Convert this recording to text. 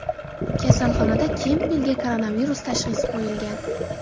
Kasalxonada Kempbellga koronavirus tashxisi qo‘yilgan.